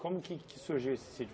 Como que que surgiu esse sítio?